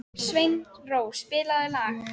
Sveinrós, spilaðu lag.